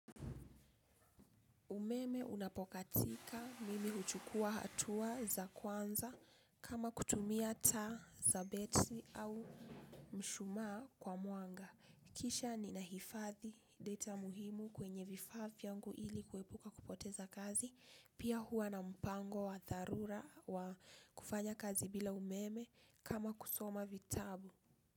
Umeme unapokatika mimi huchukua hatua za kwanza kama kutumia taa za betri au mshumaa kwa mwanga. Kisha ni nahifadhi data muhimu kwenye vifaa vyangu ili kuepuka kupoteza kazi. Pia huwa na mpango wa dharura wa kufanya kazi bila umeme kama kusoma vitabu.